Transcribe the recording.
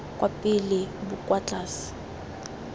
kwa pele bo kwa tlase